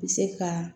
Bɛ se ka